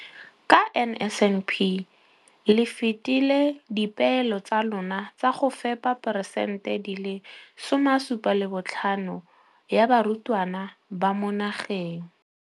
Ka NSNP le fetile dipeelo tsa lona tsa go fepa masome a supa le botlhano a diperesente ya barutwana ba mo nageng.